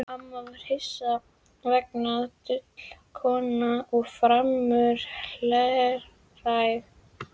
Amma var hins vegar dul kona og fremur hlédræg.